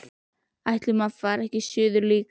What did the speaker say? Ætli maður fari ekki suður líka.